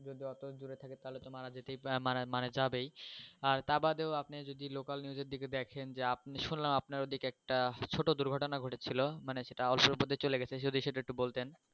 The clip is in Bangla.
মানে মানে যাবেই আর তা বাদে ও আপনি যদি local news এর দিকে দেখেন যে আপনি শুনালম আপনার ওদিকে একটা ছোট দুর্ঘটনা ঘটেছিলো মানে সেটা অল্পের উপর দিয়ে চলে গেছে যদি সেটা একটু বলতেন